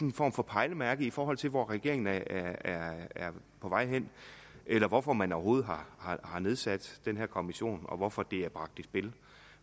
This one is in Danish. en form for pejlemærke i forhold til hvor regeringen er er på vej hen eller hvorfor man overhovedet har har nedsat den her kommission og hvorfor det er bragt i spil